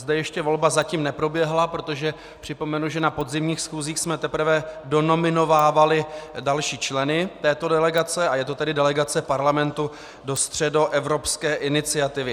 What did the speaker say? Zde ještě volba zatím neproběhla, protože připomenu, že na podzimních schůzích jsme teprve donominovávali další členy této delegace, a je to tedy delegace Parlamentu do Středoevropské iniciativy.